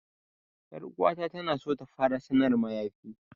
'Yar uwata na so ta fara sanar mayafi.